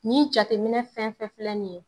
Nin jateminɛ fɛn fɛn filɛ nin ye